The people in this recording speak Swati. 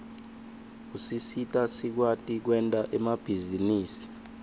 usisita sikwati kwenta emabhizinisi